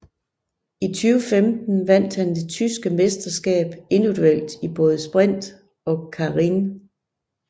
I 2015 vandt han det tyske mesterskab individuelt i både sprint og keirin